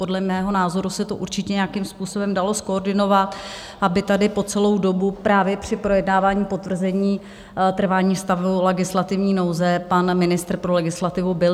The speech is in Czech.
Podle mého názoru se to určitě nějakým způsobem dalo zkoordinovat, aby tady po celou dobu právě při projednávání potvrzení trvání stavu legislativní nouze pan ministr pro legislativu byl.